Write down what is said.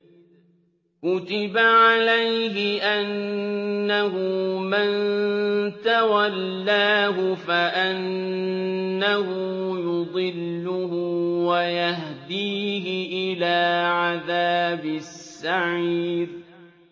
كُتِبَ عَلَيْهِ أَنَّهُ مَن تَوَلَّاهُ فَأَنَّهُ يُضِلُّهُ وَيَهْدِيهِ إِلَىٰ عَذَابِ السَّعِيرِ